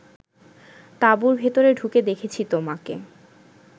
তাঁবুর ভেতরে ঢুকে দেখেছি তোমাকে